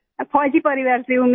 मैं फौजी परिवार से हूँ मैं